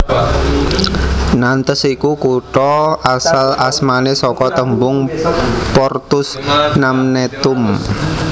Nantes iku kutha asal asmane saka tembhung Portus Namnetum